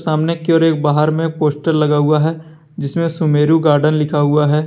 सामने की ओर एक बाहर में एक पोस्टर लगा हुआ है जिसमें सुमेरु गार्डन लिखा हुआ है।